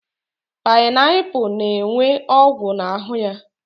Painaipu na-enwe ọgwụ n'ahụ ya.